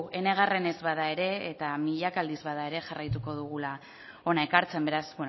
enegarrenez bada ere eta milaka aldiz bada ere jarraitu dugula hona ekartzen beraz